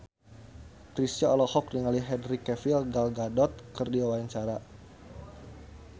Chrisye olohok ningali Henry Cavill Gal Gadot keur diwawancara